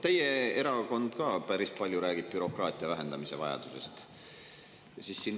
Teie erakond ka päris palju räägib bürokraatia vähendamise vajadusest.